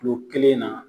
Kilo kelen na